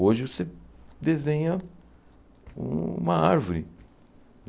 Hoje você desenha uma árvore.